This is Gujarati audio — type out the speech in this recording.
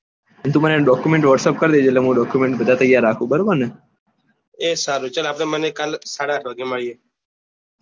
અને તું મને document whatsapp કરી દે જે એટલે હું બધા document તૌયાર રાખું બરાબર ને ચલ આપડે બંને કાલે સાડા આઠ વાગે મળીયે